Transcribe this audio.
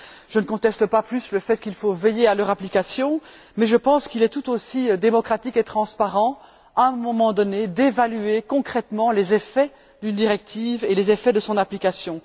Je ne conteste pas plus le fait qu'il faut veiller à leur application mais je pense qu'il est tout aussi démocratique et transparent, à un moment donné, d'évaluer concrètement les effets d'une directive et les effets de son application.